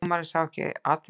Dómarinn sá ekki atvikið.